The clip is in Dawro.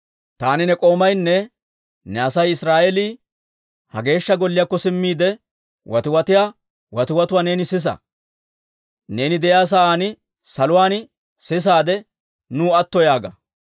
Taani ne k'oomaynne ne Asay Israa'eelii ha Geeshsha Golliyaakko simmiide, watiwatiyaa watiwatuwaa neeni sisa. Neeni de'iyaa sa'aan saluwaan sisaade, nuw atto yaaga.